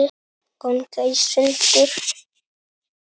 ganga í sundur